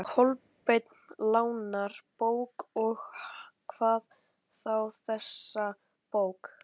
Kolbeinn lánar bók, og hvað þá þessa bók.